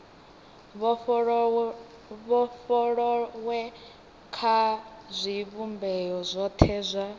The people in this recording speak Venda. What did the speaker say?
vhofholowe kha zwivhumbeo zwothe zwa